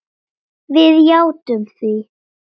Við játtum því.